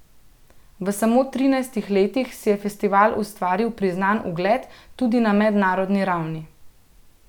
V samo trinajstih letih si je festival ustvaril priznan ugled tudi na mednarodni ravni.